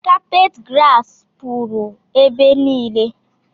Kapet grasi pụrụ ebe niile